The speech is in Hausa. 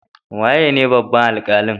Waye ne babban alkalin?